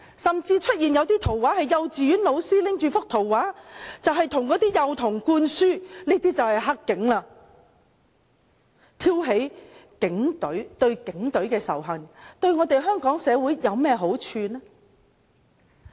甚至出現一些圖畫，是幼稚園老師拿着圖畫向幼童灌輸"黑警"意識，挑起對警隊的仇恨，對香港社會有何好處呢？